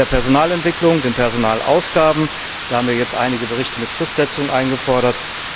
Bei der Personalentwicklung, den Personalausgaben haben wir jetzt einige Berichte mit Fristsetzung eingefordert.